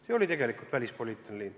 See oli tegelikult välispoliitiline liin.